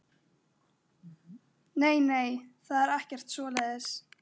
Nei, nei, það er ekkert svoleiðis.